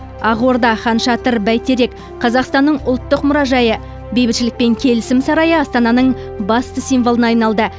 ақорда ханшатыр бәйтерек қазақстанның ұлттық мұражайы бейбітшілік пен келісім сарайы астананың басты символына айналды